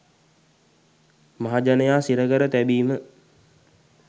මහජනයා සිරකර තැබීම